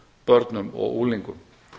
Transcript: börnum og unglingum